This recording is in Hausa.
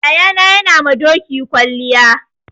Yayana yana ma doki kwalliya.